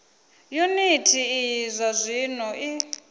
yuniti iyi zwa zwino i